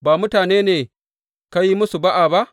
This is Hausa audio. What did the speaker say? Ba mutanen ne ka yi musu ba’a ba?